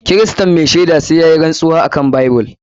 Kiristan mai shaida sai yayi rantsuwa akan bible.